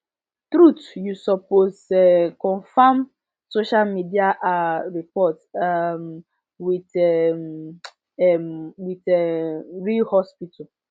truth you supposed um confirm social media ah report um with um um with um real hospital